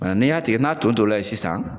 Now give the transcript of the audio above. n'i y'a tigɛ n'a tonton la ye sisan.